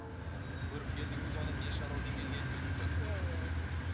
ы көріпкелдігіңіз оның не шаруамен келгенін біліп тұрады иә иә иә